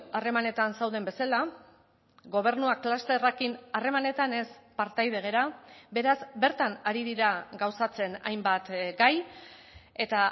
harremanetan zauden bezala gobernuak klusterrekin harremanetan ez partaide gara beraz bertan ari dira gauzatzen hainbat gai eta